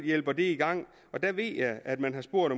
hjælper det i gang der ved jeg at man har spurgt